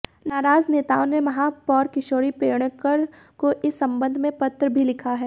नाराज नेताओं ने महापौर किशोरी पेडणेकर को इस संबंध में पत्र भी लिखा है